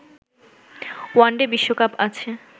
one day বিশ্বকাপ আছে